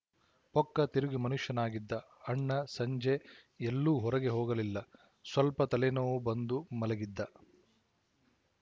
ಪೊಕ್ಕ ತಿರುಗಿ ಮನುಷ್ಯನಾಗಿದ್ದ ಅಣ್ಣ ಸಂಜೆ ಎಲ್ಲೂ ಹೊರಗೆ ಹೋಗಲಿಲ್ಲ ಸ್ವಲ್ಪ ತಲೆ ನೋವು ಬಂದು ಮಲಗಿದ್ದ